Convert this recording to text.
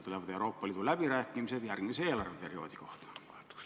Tulevad ka Euroopa Liidu läbirääkimised järgmise eelarveperioodi kohta.